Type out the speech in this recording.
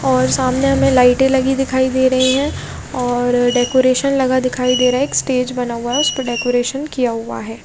और सामने हमे लायटे लगाए हुए है और डेकोरेशन लगा दिखाई दे रहा है एक स्टेज बना हुआ उसपे डेकोरेशन किया हुआ है।